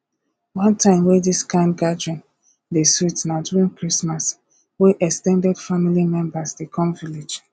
one time wey this kind gathering dey sweet na during christmas wey ex ten ded family members dey come village